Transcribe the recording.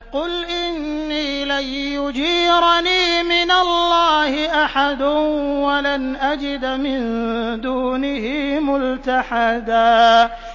قُلْ إِنِّي لَن يُجِيرَنِي مِنَ اللَّهِ أَحَدٌ وَلَنْ أَجِدَ مِن دُونِهِ مُلْتَحَدًا